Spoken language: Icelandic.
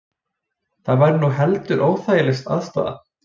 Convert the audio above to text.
Það væri nú heldur óþægileg aðstaða